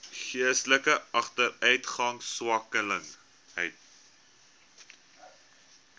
geestelike agteruitgang swaksinnigheid